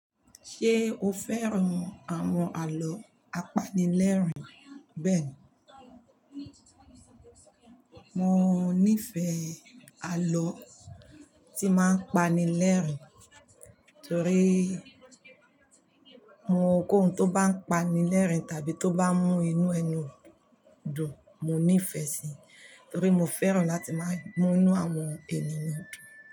Ṣé o fẹ́ran àwọn àlọ́ apanilẹ́rìn bẹ́ẹ̀ni? Mo nífẹ̀ẹ́ àlọ́ tí máa ń pani lẹ́rìn. Torí mo kòhùn tó bá ń pani lẹ́rìn tàbí tó bá mú inú ẹnu dùn mo nífẹ̀ẹ́ síi. Torí mo fẹ́ràn láti máa mú inú àwọn ènìyàn dùn.